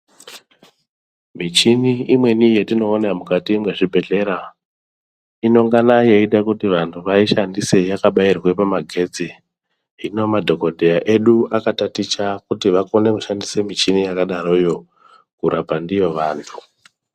Michini imweni yatinoona mukati mwezvibhedhlera, inongana yeida kuti ,vaishandise yakabairwe pamagetsi. Hino madhokodheya edu akataticha kuti vakone kushandisa michini yakadaroyo, kurapa ndiyo vantu.